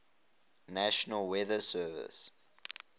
national weather service